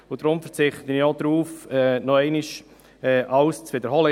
Deshalb verzichte ich auch darauf, noch einmal alles zu wiederholen.